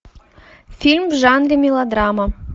фильм в жанре мелодрама